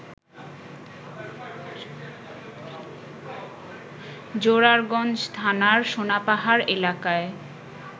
জোরারগঞ্জ থানার সোনাপাহাড় এলাকায়